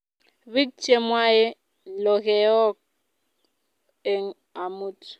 bik che mwae lokeok eng amut